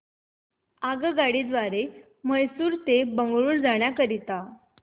आगगाडी द्वारे मैसूर ते बंगळुरू जाण्या करीता